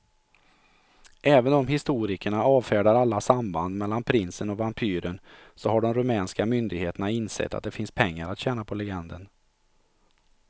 Även om historikerna avfärdar alla samband mellan prinsen och vampyren så har de rumänska myndigheterna insett att det finns pengar att tjäna på legenden.